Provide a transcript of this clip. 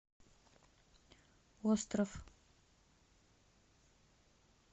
остров